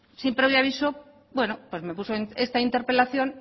sin previo aviso bueno pues me puso esta interpelación